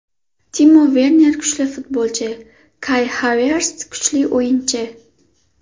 Timo Verner kuchli futbolchi, Kay Haverts kuchli o‘yinchi.